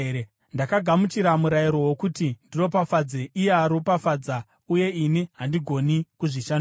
Ndakagamuchira murayiro wokuti ndiropafadze; iye aropafadza, uye ini handigoni kuzvishandura.